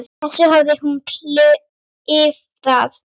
þessu hafði hún klifað.